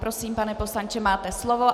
Prosím, pane poslanče, máte slovo.